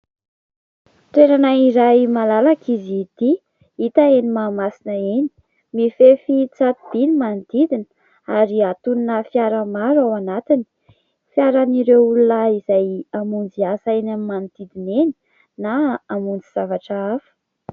Toerana iray malalaka izy ity. Hita eny Mahamasina eny. Mifefy tsato_by ny manodidina ary hatonina fiara maro ao anatiny. Fiara an'ireo olona hamonjy asa eny amin'ny manodidina eny na hamonjy zavatra hafa.